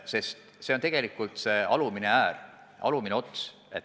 Sest see on tegelikult see alumine äär, alumine ots.